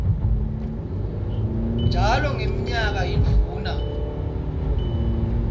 njalo ngemnyaka yindvuna